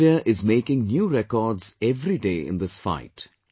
Team India is making new records everyday in this fight